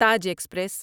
Taj express